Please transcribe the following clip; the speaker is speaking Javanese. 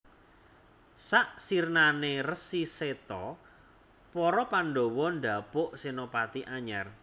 Sak sirnane Resi Seta para Pandhawa ndhapuk senopati anyar